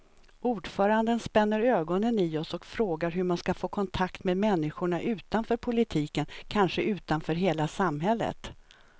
Ordföranden spänner ögonen i oss och frågar hur man ska få kontakt med människorna utanför politiken, kanske utanför hela samhället.